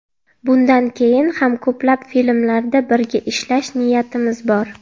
Bundan keyin ham ko‘plab filmlarda birga ishlash niyatimiz bor.